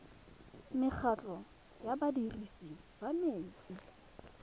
mekgatlho ya badirisi ba metsi